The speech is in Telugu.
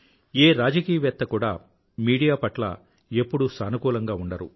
ఏ రాజకీయవేత్తా కూడా మీడియా పట్ల ఎప్పుడూ సానుకూలంగా ఉండరు